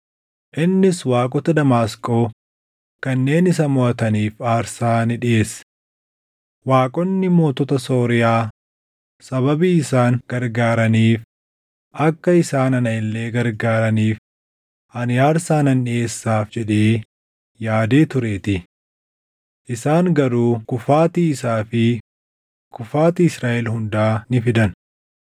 Innis waaqota Damaasqoo kanneen isa moʼataniif aarsaa ni dhiʼeesse; “Waaqonni mootota Sooriyaa sababii isaan gargaaraniif akka isaan ana illee gargaaraniif ani aarsaa nan dhiʼeessaaf” jedhee yaadee tureetii. Isaan garuu kufaatii isaa fi kufaatii Israaʼel hundaa ni fidan.